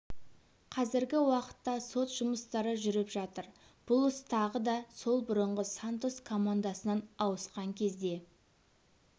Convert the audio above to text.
қазіргі уақытта сот жұмыстары жүріп жатыр бұл іс тағы да сол бұрынғы сантос командасынан ауысқан кезде